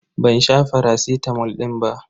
Ban sha faracitamol din ba.